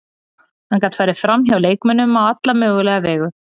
Hann gat farið framhjá leikmönnum á alla mögulega vegu.